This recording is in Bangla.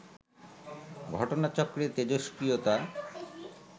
ঘটনাচক্রে তেজস্ক্রিয়তা